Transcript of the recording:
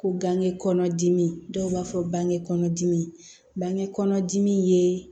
Ko ganŋɛ kɔnɔdimi dɔw b'a fɔ bange kɔnɔdimi bange kɔnɔdimi ye